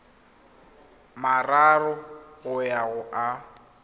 mararo go ya go a